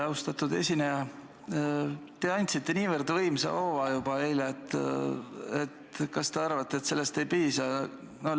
Austatud esineja, te andsite niivõrd võimsa hoova juba eile, et kas te arvate, et sellest ei piisa?